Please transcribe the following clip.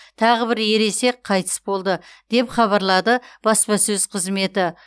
тағы бір ересек қайтыс болды деп хабарлады баспасөз қызметі